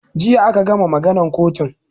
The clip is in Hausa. Jiya aka gama maganan kotun